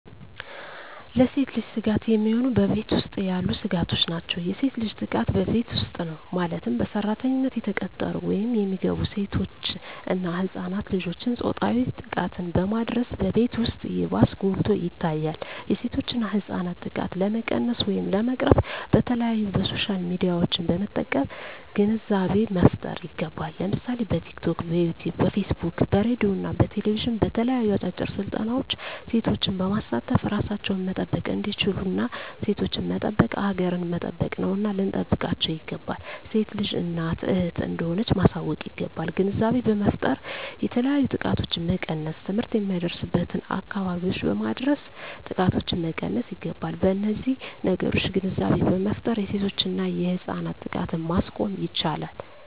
ለሴት ልጅ ስጋት የሚሆኑ በቤት ውስጥ ያሉ ስጋቶች ናቸው። የሴት ልጅ ጥቃት በቤት ውስጥ ነው ማለትም በሰራተኝነት የተቀጠሩ ወይም የሚገቡ ሴቶች እና ህፃናት ልጆችን ፆታዊ ጥቃትን በማድረስ በቤት ውስጥ ይባስ ጎልቶ ይታያል የሴቶችና ህፃናት ጥቃት ለመቀነስ ወይም ለመቅረፍ በተለያዪ በሶሻል ሚዲያዎችን በመጠቀም ግንዛቤ መፍጠር ይገባል ለምሳሌ በቲክቶክ, በዩቲቪ , በፌስቡክ በሬድዬ እና በቴሌቪዥን በተለያዩ አጫጭር ስልጠናዎች ሴቶችን በማሳተፍ እራሳቸውን መጠበቅ እንዲችሉና ሴቶችን መጠበቅ ሀገርን መጠበቅ ነውና ልንጠብቃቸው ይገባል። ሴት ልጅ እናት እህት እንደሆነች ማሳወቅ ይገባል። ግንዛቤ በመፍጠር የተለያዩ ጥቃቶችን መቀነስ ትምህርት የማይደርስበትን አካባቢዎች በማድረስ ጥቃቶችን መቀነስ ይገባል። በነዚህ ነገሮች ግንዛቤ በመፍጠር የሴቶችና የህፃናት ጥቃትን ማስቆም ይቻላል።